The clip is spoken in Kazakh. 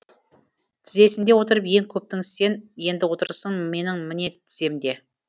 тізесінде отырып ең көптің сен енді отырсың менің міне тіземде